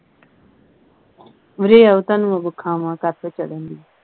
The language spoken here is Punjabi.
ਉਰੇ ਆਓ ਤੁਹਾਨੂੰ ਮੈ ਵਖਾਵਾਂ ਕਾਤੋਂ ਚੜ੍ਹਨ ਢਈ